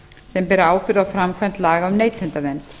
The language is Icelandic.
sem bera ábyrgð á framkvæmd laga um neytendavernd